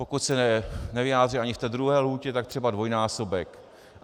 Pokud se nevyjádří ani v té druhé lhůtě, tak třeba dvojnásobek.